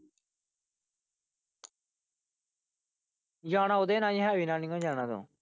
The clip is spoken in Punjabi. ਜਾਣਾ ਓਹਦੇ ਨਾਲ ਹੀ ਓ ਹੈਰੀ ਨਾਲ ਨਹੀਂ ਓ ਜਾਣਾ।